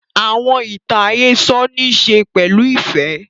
Àwọn ìtàn àhésọ nì ìṣe pẹ̀lu ifẹ